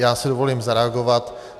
Já si dovolím zareagovat.